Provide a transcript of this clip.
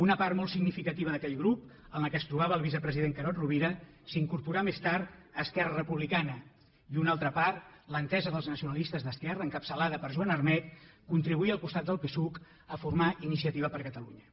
una part molt significativa d’aquell grup en què es trobava el vicepresident carod rovira s’incorporà més tard a esquerra republicana i una altra part l’entesa dels nacionalistes d’esquerra encapçalada per joan armet contribuí al costat del psuc a formar iniciativa per catalunya